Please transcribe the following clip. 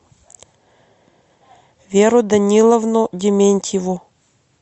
веру даниловну дементьеву